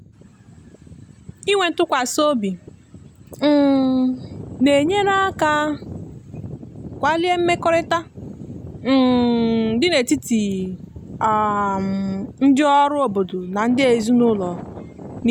inwe ntụkwasị obi um na-enyere aka kwalie mmekọrịta um dị n’etiti um ndị ọrụ obodo na ndị ezinụlọ niile.